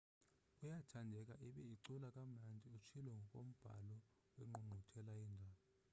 uyathandeka ibe ucula kamandi utshilo ngokombhalo wengqungquthela yeendaba